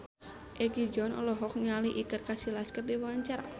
Egi John olohok ningali Iker Casillas keur diwawancara